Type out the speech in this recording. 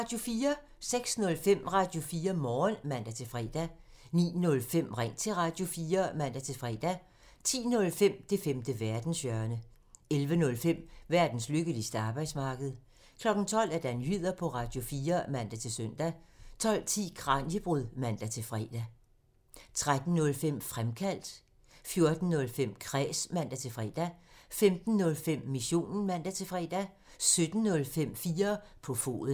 06:05: Radio4 Morgen (man-fre) 09:05: Ring til Radio4 (man-fre) 10:05: Det femte verdenshjørne (man) 11:05: Verdens lykkeligste arbejdsmarked (man) 12:00: Nyheder på Radio4 (man-søn) 12:10: Kraniebrud (man-fre) 13:05: Fremkaldt (man) 14:05: Kræs (man-fre) 15:05: Missionen (man-fre) 17:05: 4 på foden (man)